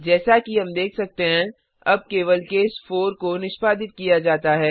जैसा कि हम देख सकते हैं अब केवल केस 4 को निष्पादित किया जाता है